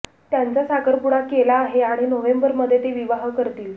त्यांचा साखरपुडा केला आहे आणि नोव्हेंबर मध्ये ते विवाह करतील